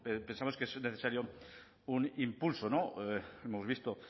pensamos que es necesario un impulso no hemos visto